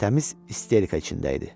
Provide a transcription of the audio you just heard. Təmiz isterika içində idi.